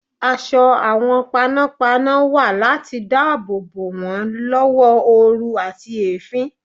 Aṣọ àwọn panọ́panọ́ wà láti dáàbò bò wọ́n lọ́wọ́ oru àti èéfín.